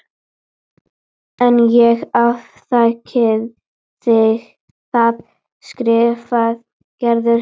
En ég afþakkaði það, skrifar Gerður heim.